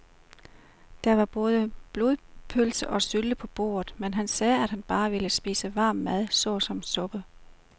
Der var både blodpølse og sylte på bordet, men han sagde, at han bare ville spise varm mad såsom suppe.